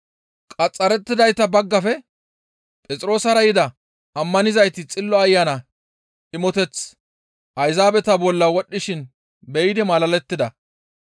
Qaxxarettidayta baggafe Phexroosara yida ammanizayti Xillo Ayana imoteththi Ayzaabeta bolla wodhdhishin be7idi malalettida.